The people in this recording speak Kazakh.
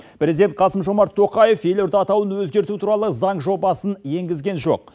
президент қасым жомарт тоқаев елорда атауын өзгерту туралы заң жобасын енгізген жоқ